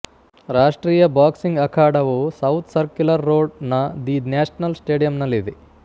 ರಾಷ್ಟ್ರೀಯ ಬಾಕ್ಸಿಂಗ್ ಅಖಾಡವು south circular road ನ ದಿ ನ್ಯಾಷನಲ್ ಸ್ಟೇಡಿಯಂನಲ್ಲಿದೆ